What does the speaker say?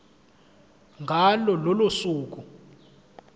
ngalo lolo suku